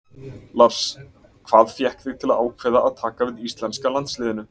Lars: Hvað fékk þig til að ákveða að taka við íslenska landsliðinu?